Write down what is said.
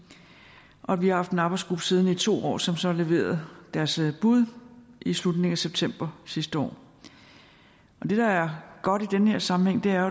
og vi haft en arbejdsgruppe siddende i to år som så leverede deres bud i slutningen af september sidste år det der er godt i den her sammenhæng er